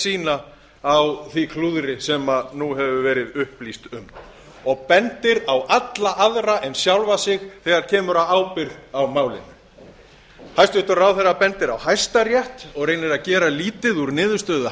sína á því klúðri sem nú hefur verið upplýst um og bendir á alla aðra en sjálfan sig þegar kemur að ábyrgð á málinu hæstvirtur ráðherra bendir á hæstarétt og reynir að gera lítið úr niðurstöðu